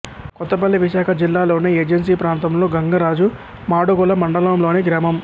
కొత్తపల్లి విశాఖ జిల్లాలోని ఏజెన్సీ ప్రాంతంలో గంగరాజు మాడుగుల మండలం లోని గ్రామం